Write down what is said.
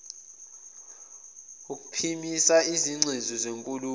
ukuphimisa izingcezu zenkulumo